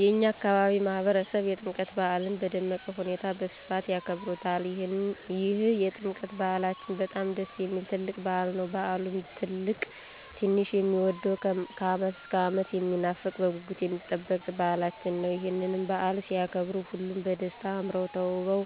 የእኛ አካባቢ ማህበረሰብ የጥምቀት በዓልን በደመቀ ሁኔታ በስፋት ያከብሩታል ይህ የጥምቀት በዓላችን በጣም ደስ የሚል ትልቅ በዓል ነዉ። በዓሉም ትልቅ ትንሹ የሚወደዉ ከዓመት እስከ ዓመት የሚናፈቅ በጉጉት የሚጠበቅ በዓላችን ነዉ። ይህንንም በዓል ሲያከብሩ ሁሉም በደስታ አምረዉ ተዉበዉ